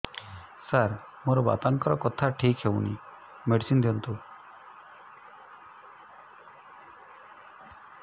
ସାର ମୋର ବାପାଙ୍କର କଥା ଠିକ ହଉନି ମେଡିସିନ ଦିଅନ୍ତୁ